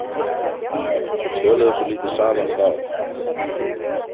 Við töluðum svo lítið saman þá.